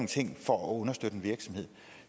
ting for at understøtte en virksomhed